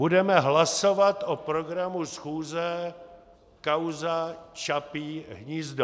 Budeme hlasovat o programu schůze, kauza Čapí hnízdo.